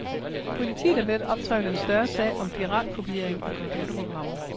Politiet er ved at optrevle en større sag om piratkopiering af computerprogrammer.